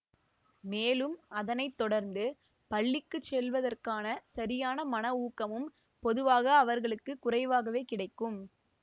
மேலும் அதனை தொடர்ந்து பள்ளிக்கு செல்வதற்கான சரியான மனவூக்கமும் பொதுவாக அவர்களுக்கு குறைவாகவே கிடைக்கும்